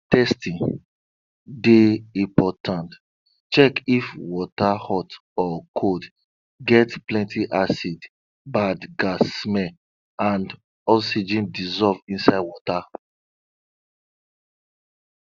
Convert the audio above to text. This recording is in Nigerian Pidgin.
testing dey important check if water hot or cold get plenty acid bad gas smell and oxygen dissolve inside water